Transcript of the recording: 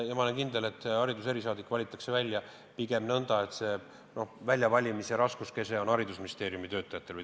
Ma olen kindel, et see hariduse erisaadik valitakse välja pigem nõnda, et väljavalimise raskus langeb haridusministeeriumi töötajatele.